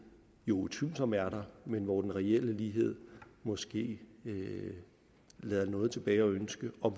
jo utvivlsomt er der men hvor den reelle lighed måske lader noget tilbage at ønske og